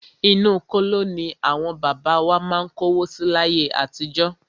Inú kóló ní àwọn bàbá wa má ń kówó si láyé àtijọ́.